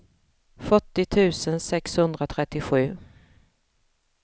fyrtio tusen sexhundratrettiosju